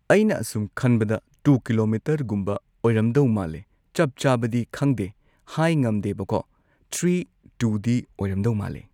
ꯑꯩꯅ ꯑꯁꯨꯝ ꯈꯟꯕꯗ ꯇꯨ ꯀꯤꯂꯣꯃꯤꯇꯔꯒꯨꯝꯕ ꯑꯣꯏꯔꯝꯗꯧ ꯃꯥꯜꯂꯦ ꯆꯞ ꯆꯥꯕꯗꯤ ꯈꯪꯗꯦ ꯍꯥꯏ ꯉꯝꯗꯦꯕꯀꯣ ꯊ꯭ꯔꯤ ꯇꯨꯗꯤ ꯑꯣꯏꯔꯝꯗꯧ ꯃꯥꯜꯂꯦ